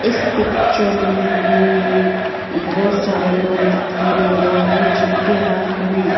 इस पिक्चर में हमें बहुत सारे लोग दिखाई दे रहे है जिनके हाथ में--